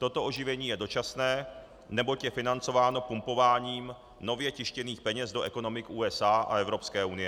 Toto oživení je dočasné, neboť je financováno pumpováním nově tištěných peněz do ekonomik USA a Evropské unie.